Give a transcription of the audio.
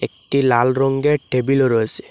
একটি লাল রঙের টেবিল রয়েসে।